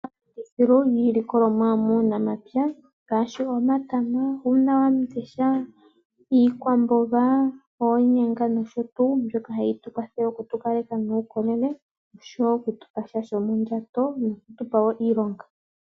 Otuna iilikolomwa yomomapya, ngaashi omatama, uuna wamundesha, iikwamboga, oonyanga, nosho tuu. Mbika ohayi tukwathele opo tukale tuna omaukolele, oshowo okutupa sha shomondjato, noku tupa iilonga.